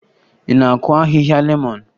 Ị na-akụ ahịhịa lemọn?